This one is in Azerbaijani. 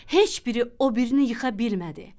Heç biri o birini yıxa bilmədi.